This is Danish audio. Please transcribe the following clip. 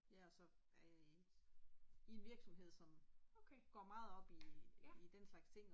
Ja og så er jeg i i en virksomhed som går meget op i i den slags ting